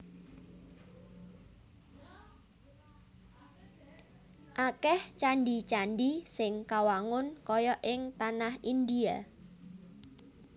Akèh candhi candhi sing kawangun kaya ing tanah Indhia